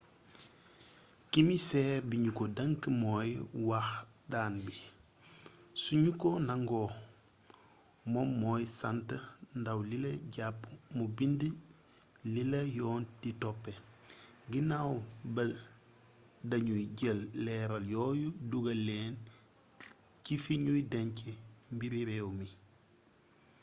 kimiseer bi ñu ko denk mooy wax daan bi su ñu ko nangoo moom mooy sant ndaw lila jàpp mu bind lila yoon di toppee ginaaw ba dañuy jël leeraal yooyu dugal leen ci fi ñuy denc mbiri réew mi